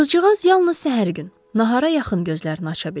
Qızcığaz yalnız səhər gün nahara yaxın gözlərini aça bildi.